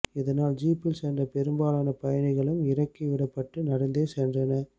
இதனால் ஜீப்பில் சென்ற பெரும்பாலான பயணிகளும் இறக்கி விடப்பட்டு நடந்தே சென்றனர்